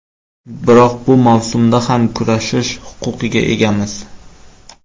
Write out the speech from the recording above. Biroq bu mavsumda ham kurashish huquqiga egamiz.